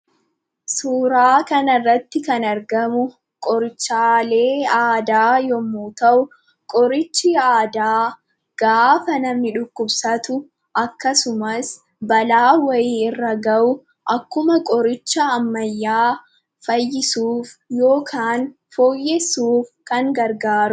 Suuraa kanarratti kan argamu qorichaalee aadaa yommuu ta'u qorichi aadaa gaafa namni dhukkubsatu akkasumas balaan wayii irra ga'u akkuma qoricha ammayyaa fayyisuuf yookaan fooyyessuuf kan gargaarudha